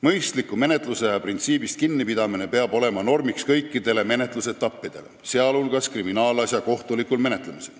Mõistliku menetlusaja printsiibist kinnipidamine peab olema normiks kõikides menetlusetappides, sh kriminaalasja kohtulikul menetlemisel.